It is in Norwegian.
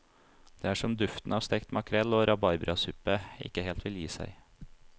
Det er som duften av stekt makrell og rabarbrasuppe ikke helt vil gi seg.